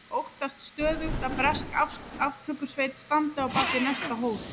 Óttast stöðugt að bresk aftökusveit standi á bak við næsta hól.